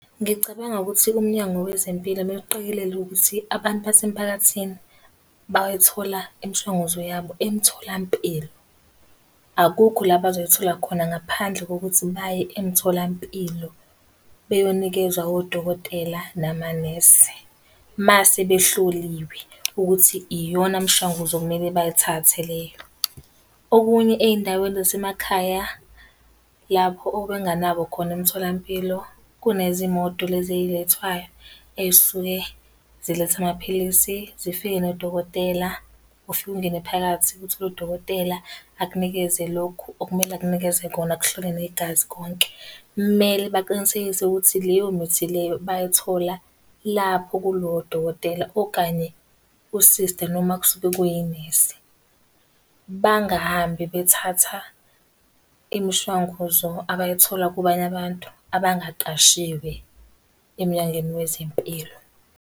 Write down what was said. Ngicabanga ukuthi uMnyango Wezempilo kumele uqikelele ukuthi abantu base mphakathini bayithola imishanguzo yabo emtholampilo. Akukho la bazoyithola khona ngaphandle kokuthi baye emtholampilo beyonikezwa odokotela namanesi, uma sebehloliwe ukuthi iyona mshanguzo okumele bayithathe leyo. Okunye ey'ndaweni zasemakhaya lapho obenganganabo khona emtholampilo, kunezimoto lezi ey'lethwayo, ey'suke zilethe amaphilisi, zifike nodokotela. Ufike ungene phakathi, uthole udokotela akunikeze lokhu okumele akunikeze kona akuhlole negazi konke. Kumele baqinisekise ukuthi leyo mithi leyo bayithola lapho kulowo dokotela okanye usista noma kusuke kuyinesi. Bangahambe bethatha imishanguzo abayithola kubanye abantu abangaqashiwe eMnyangweni Wezempilo.